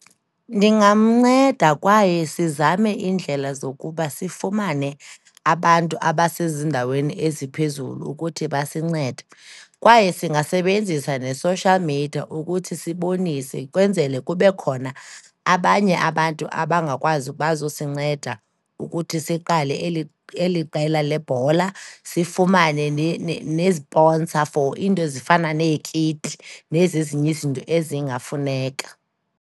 Ndingamnceda kwaye sizame iindlela zokuba sifumane abantu abasezindaweni eziphezulu ukuthi basincede, kwaye singasebenzisa ne-social media ukuthi sibonise, kwenzele kube khona abanye abantu abangakwazi, bazosinceda ukuthi siqale eli qela lebhola, sifumane nee-sponsor for iinto ezifana neekiti nezi zinye izinto ezingafuneka.